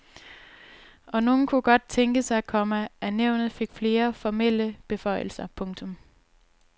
Og nogle kunne godt tænke sig, komma at nævnet fik flere formelle beføjelser. punktum